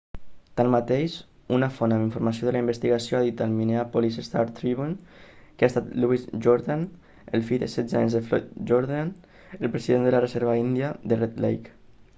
tanmateix una font amb informació de la investigació ha dit al minneapolis star-tribune que ha estat louis jourdain el fill de setze anys de floyd jourdain el president de la reserva índia de red lake